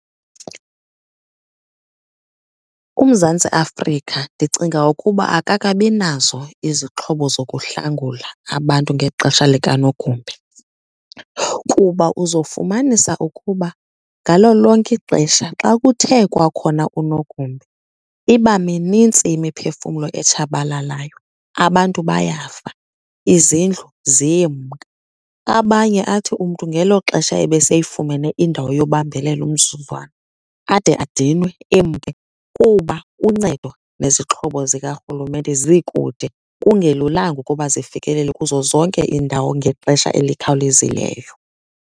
UMzantsi Afrika ndicinga ukuba akakabi nazo izixhobo zokuhlangula abantu ngexesha likanogumbe kuba uzofumanisa ukuba ngalo lonke ixesha xa kuthe kwakhona unogumbe iba minintsi imiphefumlo etshabalalayo, abantu bayafa, izindlu ziyemka. Abanye athi umntu ngelo xesha ebeseyifumene indawo yobambelela umzuzwana, ade adinwe emke kuba uncedo nezixhobo zikarhulumente zikude, kungelulanga ukuba zifikelele kuzo zonke iindawo ngexesha elikhawulezileyo.